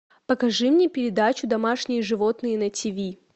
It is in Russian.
покажи мне передачу домашние животные на тв